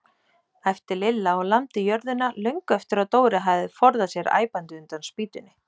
æpti Lilla og lamdi jörðina löngu eftir að Dóri hafði forðað sér æpandi undan spýtunni.